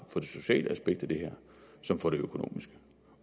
for det sociale aspekt i det her som for det økonomiske